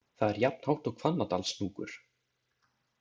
Það er jafnhátt og Hvannadalshnúkur.